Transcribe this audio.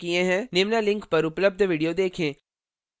निम्न link पर उपलब्ध video देखें